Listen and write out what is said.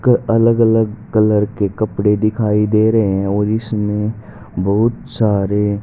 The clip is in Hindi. क अलग अलग कलर के कपड़े दिखाई दे रहे हैं और इसमें बहुत सारे--